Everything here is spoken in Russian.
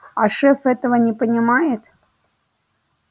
а шеф этого не понимает